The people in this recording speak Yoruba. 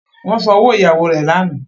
Wón sàn òwò ìyàwó re lànà.